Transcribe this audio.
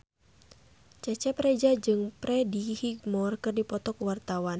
Cecep Reza jeung Freddie Highmore keur dipoto ku wartawan